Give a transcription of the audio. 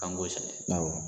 K'an ko sɛnɛ